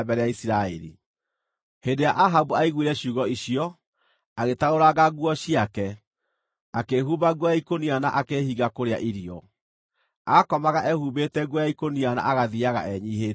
Hĩndĩ ĩrĩa Ahabu aiguire ciugo icio, agĩtarũranga nguo ciake, akĩĩhumba nguo ya ikũnia na akĩĩhinga kũrĩa irio. Aakomaga ehumbĩte nguo ya ikũnia na agathiiaga enyiihĩtie.